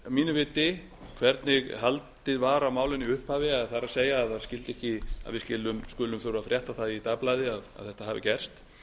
mínu viti hvernig haldið var á málinu í upphafi það er að við skulum þurfa að frétta það í dagblaði að þetta hafi gerst